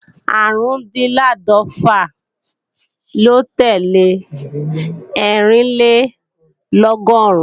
Árùndinláàdọ́fà ló tẹ́lẹ̀ Ẹ́rìnlélọ́gọ́rùn